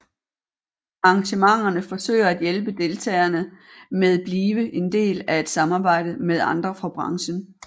Arrangementerne forsøger at hjælpe deltagerne med blive en del af at samarbejde med andre fra branchen